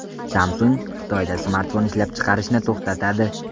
Samsung Xitoyda smartfon ishlab chiqarishni to‘xtatadi.